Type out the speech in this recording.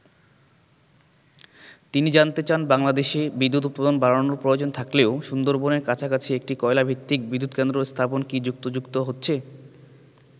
তিনি জানতে চান বাংলাদেশে বিদ্যুৎ উৎপাদন বাড়ানোর প্রয়োজন থাকলেও সুন্দরবনের কাছাকাছি একটি কয়লা ভিত্তিক বিদ্যুৎ কেন্দ্র স্থাপন কি যুক্তিযুক্ত হচ্ছে?